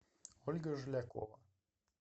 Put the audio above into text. ольга жилякова